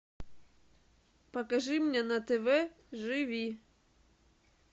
покажи мне на тв живи